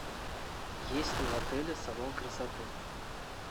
есть ли в отеле салон красоты